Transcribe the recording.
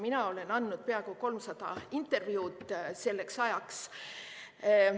Mina olin andnud peaaegu 300 intervjuud selleks ajaks.